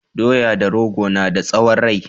Doya da rogo na da tsawon rai